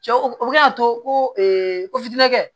Cɛw o bɛ se k'a to ko ko tɛ